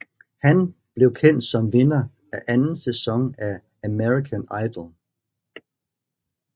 Han blev kendt som vinder af anden sæson af American Idol